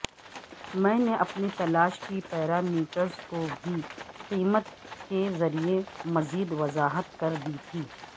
میں نے اپنے تلاش کے پیرامیٹرز کو بھی قیمت کے ذریعے مزید وضاحت کردی تھی